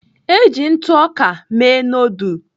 Eji ntụ ọka mee noodul.